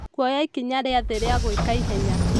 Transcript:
Kuoya ikinya rĩa thĩ rĩa gũĩka ihenya.